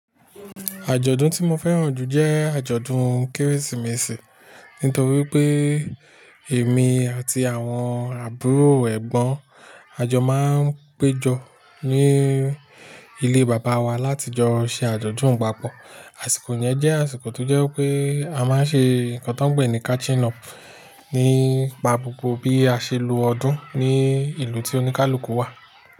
Àjọ̀dún tí mo fẹ́ràn jù jẹ́ àjọ̀dún Kérésìmesì. Nítorí pé èmi àti àwọn àbúrò ẹ̀gbọ́n à jọ máa ń péjọ ní ilé Bàbá wá láti jọ ṣe àjọ̀dún papọ̀. Àsìkò yẹn jẹ́ àsìkò tó jẹ́ pé a máa ń ṣe nǹkan tó ń pe ní catching up nípa gbogbo bí a ṣe lo ọdún ní ìlú tí oníkálukú wà.